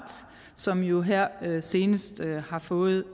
som jo her senest har fået